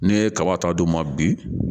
Ne ye kaba ta d'u ma bi